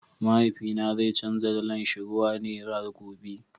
mahaifi na zai chanza dala shi ruwa nera gobe.